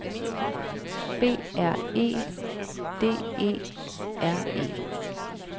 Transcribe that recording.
B R E D E R E